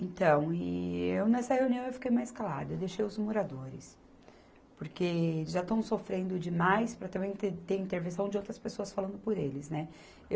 Então, e nessa reunião eu fiquei mais calada, deixei os moradores, porque já estão sofrendo demais para também ter, ter intervenção de outras pessoas falando por eles, né. Eu